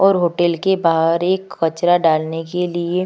और होटल के बाहर एक कचरा डालने के लिए --